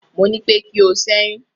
mọ ní pé kí o ṣẹyun